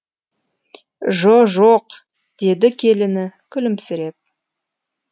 жо жоқ деді келіні күлімсіреп